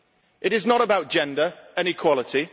It is not about gender and equality